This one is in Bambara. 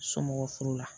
Somɔgɔ furu la